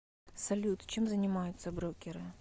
салют чем занимаются брокеры